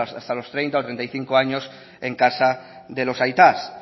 hasta los treinta o treinta y cinco años en casa de los aitas